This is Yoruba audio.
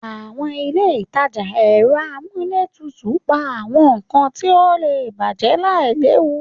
Àwọn ilé ìtajà ẹ̀rọ amúlétutù ń pa àwọn nkan tí ó lè bàjẹ́ láìléwu.